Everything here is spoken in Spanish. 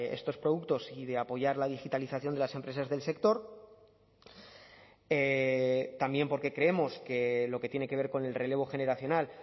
estos productos y de apoyar la digitalización de las empresas del sector también porque creemos que lo que tiene que ver con el relevo generacional